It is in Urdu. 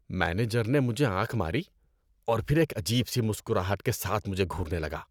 مینیجر نے مجھے آنکھ ماری اور پھر ایک عجیب سی مسکراہٹ کے ساتھ مجھے گھورنے لگا۔